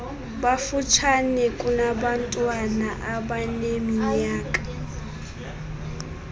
bafutshane kunabantwana abaneminyaka